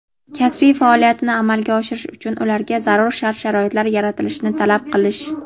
kasbiy faoliyatini amalga oshirish uchun ularga zarur shart-sharoitlar yaratilishini talab qilish;.